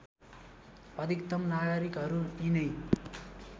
अधिकतम नागरिकहरू यिनै